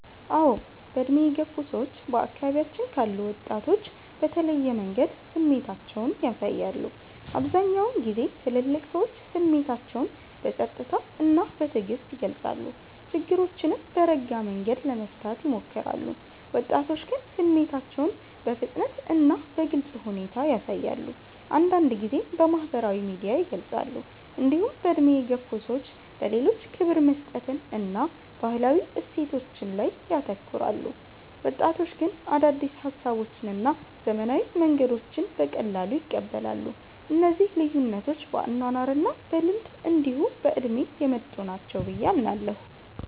አዎ። በዕድሜ የገፉ ሰዎች በአካባቢያችን ካሉ ወጣቶች በተለየ መንገድ ስሜታቸውን ያሳያሉ። አብዛኛውን ጊዜ ትልልቅ ሰዎች ስሜታቸውን በጸጥታ እና በትዕግስት ይገልጻሉ፣ ችግሮችንም በረጋ መንገድ ለመፍታት ይሞክራሉ። ወጣቶች ግን ስሜታቸውን በፍጥነት እና በግልጽ ሁኔታ ያሳያሉ፣ አንዳንድ ጊዜም በማህበራዊ ሚዲያ ይገልጻሉ። እንዲሁም በዕድሜ የገፉ ሰዎች ለሌሎች ክብር መስጠትን እና ባህላዊ እሴቶችን ላይ ያተኩራሉ። ወጣቶች ግን አዳዲስ ሀሳቦችን እና ዘመናዊ መንገዶችን በቀላሉ ይቀበላሉ። እነዚህ ልዩነቶች በአኗኗር እና በልምድ እንዲሁ በእድሜ የመጡ ናቸው ብየ አምናለሁ።